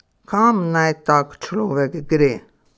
Kam naj tak človek gre?